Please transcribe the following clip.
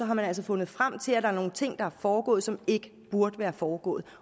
man altså fundet frem til at der er nogle ting der er foregået som ikke burde være foregået